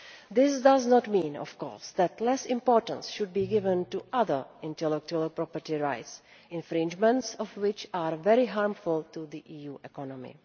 This does not mean, of course, that less importance should be given to other intellectual property rights, the infringement of which is very harmful to the EU economy.